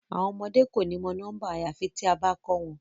Awọn ọmọde ko ni mọ nọmba Yorùbá ayafi tia ba kọ wọn